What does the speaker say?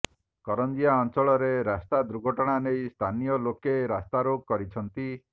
କରଞ୍ଜିଆ ଅଞ୍ଚଳରେ ରାସ୍ତା ଦୁର୍ଘଟଣା ନେଇ ସ୍ଥାନୀୟ ଲୋକେ ରାସ୍ତାରୋକ କରିଛନ୍ତି